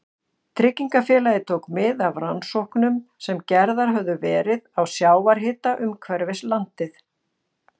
Tryggingafélagið tók mið af rannsóknum sem gerðar höfðu verið á sjávarhita umhverfis landið.